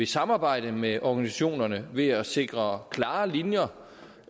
samarbejde med organisationerne ved at sikre klare linjer